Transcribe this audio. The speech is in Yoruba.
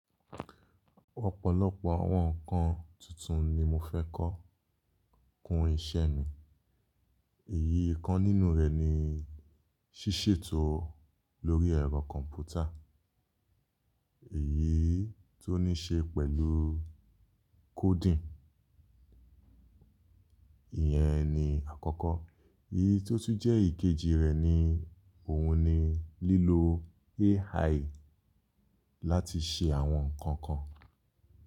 Ọ̀pọ̀lọpọ̀ àwọn ǹkan tuntun ni mo fẹ́ kọ́ kun iṣẹ́ mi. Èyí kan nínú rẹ̀ ni ṣíṣètò lórí ẹ̀rọ kọ̀m̀pútà, èyí tó ní ṣe pẹ̀lú coding. Ìyẹn ni àkọ́kọ́. Èyí tó tún jẹ́ èkejì rẹ̀ ni òun ni lílo AI láti ṣe àwọn nǹkan kan.